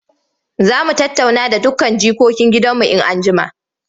Za mu tattauna da dukkan jikokin gidanmu in an jima.